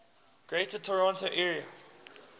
greater toronto area